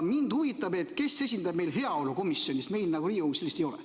Mind huvitab, kes esindab meil heaolukomisjoni, sest meil Riigikogus sellist ei ole.